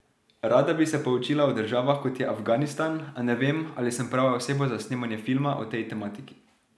Rada bi se poučila o državah, kot je Afganistan, a ne vem, ali sem prava oseba za snemanje filma o tej tematiki.